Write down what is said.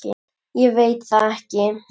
Ég veit það ekki!